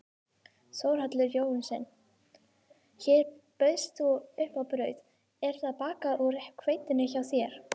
Þórhallur Jósefsson: Hér bauðst þú upp á brauð, er það bakað úr hveitinu frá þér?